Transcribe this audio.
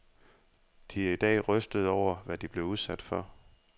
De er i dag rystede over, hvad de blev udsat for.